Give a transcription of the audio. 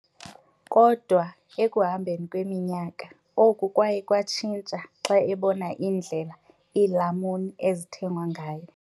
Kodwa ekuhambeni kweminyaka, oku kwaye kwatshintsha xa ebona indlela iilamuni ezithengwa ngayo.